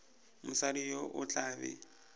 mosadi yo o tla be